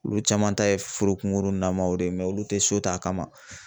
Olu caman ta ye furu kungurunnamaw de ye olu tɛ so ta a kama.